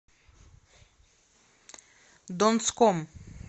донском